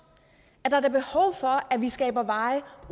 er der da behov for at vi skaber veje